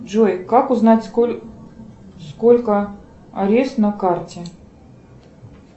джой как узнать сколько арест на карте